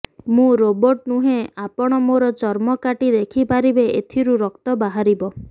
ମୁଁ ରୋବର୍ଟ ନୁହେଁ ଆପଣ ମୋର ଚର୍ମ କାଟି ଦେଖିପାରିବେ ଏଥିରୁ ରକ୍ତ ବାହାରିବ